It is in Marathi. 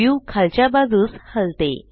व्यू खालच्या बाजूस हलते